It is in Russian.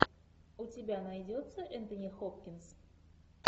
у тебя найдется энтони хопкинс